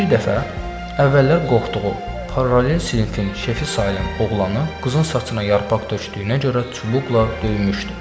Bir dəfə əvvəllər qorxduğu, paralel sinfin şefi sayılan oğlanı qızın saçına yarpaq tökdüyünə görə çubuqla döymüşdü.